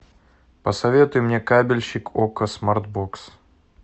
посоветуй мне кабельщик окко смарт бокс